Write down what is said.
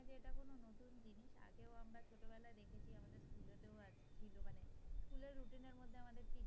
routine এর মধ্যে আমাদের।